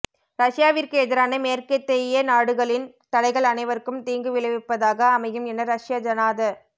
ரஷ்யாவிற்கு எதிரான மேற்கத்தேய நாடுகளின் தடைகள் அனைவருக்கும் தீங்கு விளைவிப்பதாக அமையும் என ரஷ்ய ஜனாத